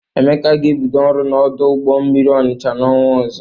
Emeka ga-ebido ọrụ n'ọdụ ụgbọ mmiri Ọnịcha n'ọnwa ọzọ.